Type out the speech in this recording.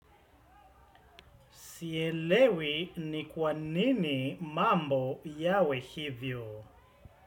Sielewi, ni kwa nini mambo yawe hivyo?